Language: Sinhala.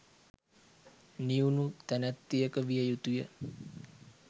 නිවුණු තැනැත්තියක විය යුතු ය.